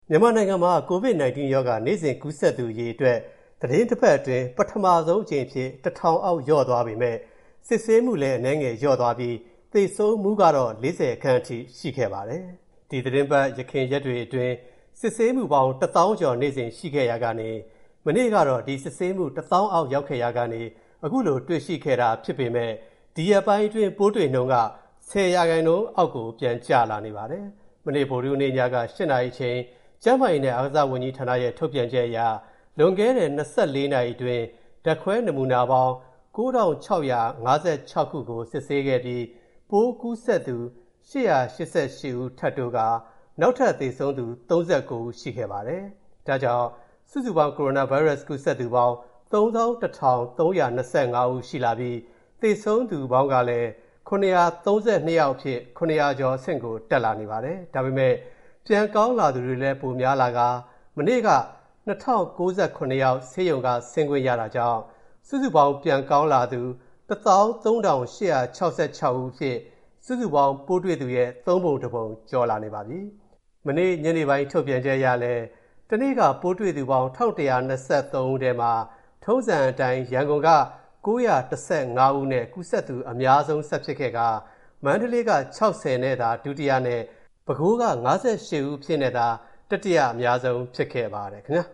မြန်မာနိုင်ငံမှာ COVID-19 ရောဂါ နေ့စဉ်ကူးစက်သူအရေအတွက် သီတင်းတပတ်အတွင်း ပထမဆုံးအကြိမ်အဖြစ် ၁,၀၀၀ အောက်လျော့သွားပေမဲ့၊ စစ်ဆေးမူအနည်းငယ်နည်းသွားပြီး၊ သေဆုံးမူကတော့ ၄၀ ခန့်အထိရှိခဲ့ပါတယ်။ ဒီသီတင်းပတ် ယခင်ရက်တွေအတွင်း စစ်ဆေးမူပေါင်း တစ်သောင်းကျော်နေ့စဉ်ရှိခဲ့ရာကနေ၊ မနေ့ကတော့ ဒီစစ်ဆေးမူတစ်သောင်းအောက်ရောက်ခဲ့ရာကနေ ခုလိုတွေ့ရှိခဲ့တာဖြစ်ပေမဲ့၊ ဒီရက်ပိုင်းတွေအတွင်း ပိုးတွေ့နှုန်းက ၁၀ % အောက်ပြန်ကျလာနေပါတယ်။ မနေ့ ဗုဒ္ဓဟူးနေ့ည ၈ နာရီအချိန် ကျန်းမာရေးနဲ့ အားကစားဝန်ကြီးဌာနရဲ့ ထုတ်ပြန်ချက်အရ လွန်ခဲ့တဲ့ ၂၄ နာရီအတွင်း ဓာတ်ခွဲနမူနာပေါင်း ၉,၆၅၆ ခုကို စစ်ဆေးခဲ့ပြီး၊ ပိုးကူးစက်သူ ၈၈၈ ဦး ထပ်တိုးပြီး၊ နောက်ထပ်သေဆုံးသူ ၃၉ ဦးရှိခဲ့ပါတယ်။ ဒါကြောင့် စုစုပေါင်းကိုရိုနာဗိုင်းရပ်စ်ကူးစက်သူပေါင်း ၃၁,၃၂၅ ရှိလာပြီး၊ သေဆုံးသူပေါင်းကလည်း ၇၃၂ ယောက်အဖြစ် ၇၀၀ ကျော်အဆင့်ကိုတက်လာနေပါတယ်။ ဒါပေမဲ့ ပြန်ကောင်းလာသူတွေလဲ ပိုများလာကာ၊ မနေ့က ၂,၀၉၇ ယောက် ဆေးရုံက ဆင်းခွင့်ရတာကြောင့်၊ စုစုပေါင်း ပြန်ကောင်းလာသူ ၁၃,၈၆၆ ယောက်အဖြစ် စုစုပေါင်းပိုးတွေ့သူရဲ့ သုံးပုံတစ်ပုံကျော် လာပါပြီ။ ဒီကနေ့ညနေပိုင်း ထုတ်ပြန်ချက်အရလည်း တနေ့က ပိုးတွေ့သူပေါင်း ၁၁၂၃ ဦးမှာ၊ ထုံးစံအတိုင်း ရန်ကုန်တိုင်းက ၉၁၅ ဦးနဲ့ ကူးစက်သူအများဆုံးဆက်ဖြစ်ခဲ့ပြီး၊ မန္တလေးက ၆၀ သာ ဒုတိယနဲ့ ပဲခူးက ၅၈ ဦးအဖြစ်နဲ့သာ တတိယအများဆုံးဖြစ်ခဲ့ပါတယ်။ အမျာ